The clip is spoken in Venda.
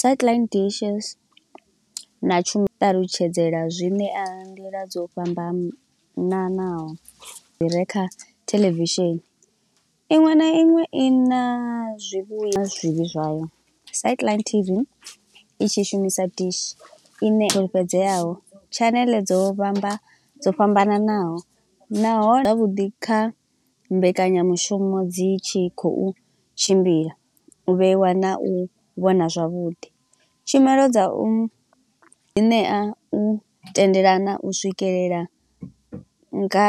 Sathaḽaithi dishes na tshumi ṱalutshedzela zwine a nḓila dzo fhambamnanaho dzi re kha theḽevishini. Iṅwe na iṅwe i na zwivhuya zwivhi zwavho, satheḽaithi tv i tshi shumisa dish ine fulufhedzeaho, tshaneḽe dzo vhamba dzo fhambananaho, naho zwavhuḓi kha mbekanyamushumo dzi tshi khou tshimbila, u vheiwa na u vhona zwavhuḓi. Tshumelo dza u ṋea u thendelana u swikelela nga,